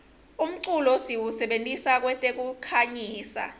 umculo siwusebentisa kwetekukhangisa